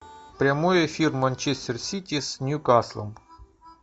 прямой эфир манчестер сити с ньюкаслом